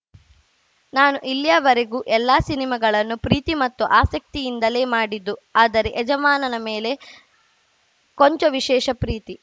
ನಾನು ಇಲ್ಲಿಯವರೆಗೂ ಎಲ್ಲಾ ಸಿನಿಮಾಗಳನ್ನು ಪ್ರೀತಿ ಮತ್ತು ಆಸಕ್ತಿಯಿಂದಲೇ ಮಾಡಿದ್ದು ಆದರೆ ಯಜಮಾನ ಮೇಲೆ ಕೊಂಚ ವಿಶೇಷ ಪ್ರೀತಿ